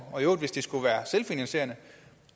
og i øvrigt hvis det skulle være selvfinansierende